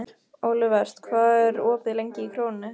Olivert, hvað er opið lengi í Krónunni?